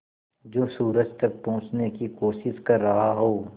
जो सूरज तक पहुँचने की कोशिश कर रहा हो